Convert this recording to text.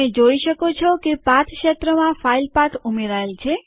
જોઈ શકો છો કે પાથ ક્ષેત્રમાં ફાઈલ પાથ ઉમેરાય છે